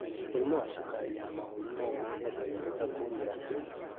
Mũrimũ wa cukari ya mahũri no ũrehe dariri ta kũmira kũingĩ,